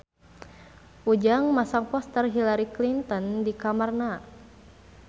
Ujang masang poster Hillary Clinton di kamarna